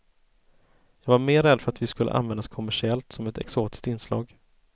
Jag var mer rädd för att vi skulle användas kommersiellt som ett exotiskt inslag.